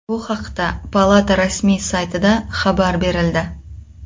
Bu haqda palata rasmiy saytida xabar berildi .